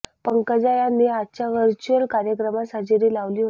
पंकजा यांनी आजच्या व्हर्च्युअल कार्यक्रमास हजेरी लावली होती